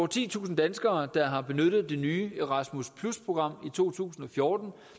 titusind danskere der har benyttet det nye erasmus program i to tusind og fjorten